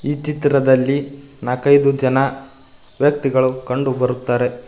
ಈ ಚಿತ್ರದಲ್ಲಿ ನಾಲ್ಕೈದು ಜನ ವ್ಯಕ್ತಿಗಳು ಕಂಡುಬರುತ್ತಾರೆ.